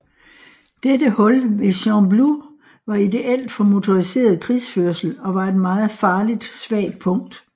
Dette hul ved Gembloux var ideelt for motoriseret krigsførsel og var et meget farligt svagt punkt